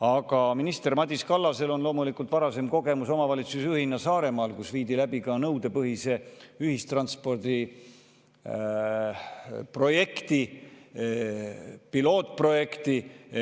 Aga minister Madis Kallasel on loomulikult varasem kogemus omavalitsusjuhina Saaremaal, kus viidi läbi nõudepõhise ühistranspordi pilootprojekti.